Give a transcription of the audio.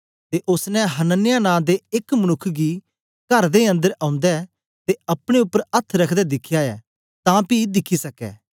ते ओसने हनन्याह नां दे एक मनुक्ख गी कर दे अन्दर औंदे ते अपने उपर अथ्थ रखदे दिखया ऐ तां पी दिखी सकै